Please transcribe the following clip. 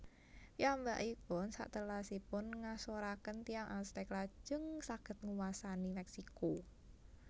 Piyambakipun satelasipun ngasoraken tiyang Aztec lajeng saged nguwasani Meksiko